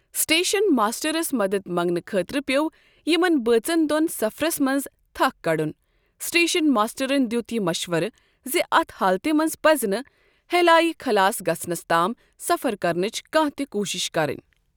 Station ماشٹَرس مَدد منٛگنہٕ خٲطرٕ پیوٚو یِمن بٲژن دون سفرٕس منز تھکھ کَڑُن، سٹیشن ماشٹَرن دیُت یہِ مشوَرٕ زِ اتھ حالتہِ منٛز پَزِ نہٕ ہیلایہ خلاس گژھنس تام سفر کرنٕچ کانٛہہ تہِ کوٗشِش کَرٕنۍ ۔